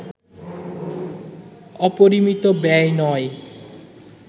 অপরিমিত ব্যয় নয়